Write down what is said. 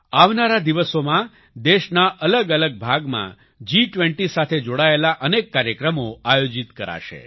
આવનારા દિવસોમાં દેશના અલગઅલગ ભાગમાં જી20 સાથે જોડાયેલા અનેક કાર્યક્રમો આયોજિત કરાશે